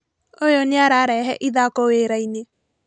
ũyũ nĩararehe ithako wĩra-inĩ